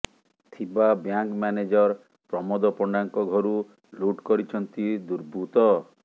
ଥିବା bank manager Pramod ପଣ୍ଡାଙ୍କ ଘରୁ ଲୁଟ୍ କରିଛନ୍ତି ଦୁର୍ବୃତ୍ତ